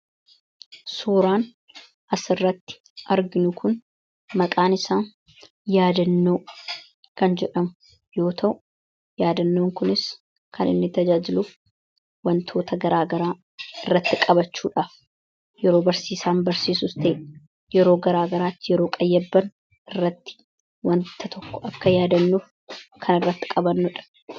suuraan as irratti arginu kun maqaan isaa yaadannoo kan jedhamu yoo ta'u yaadannoon kunis kan inni tajaajiluuf wantoota garaagaraa irratti qabachuudhaaf yeroo barsiisaan barsiisuf ta'e yeroo garaagaraatti yeroo qayyabban irratti wanta tokko akka yaadannuuf kan irratti qabannodha